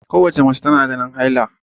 Kowace mace tana ganin haila